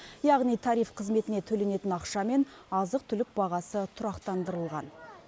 яғни тариф қызметіне төленетін ақша мен азық түлік бағасы тұрақтандырылған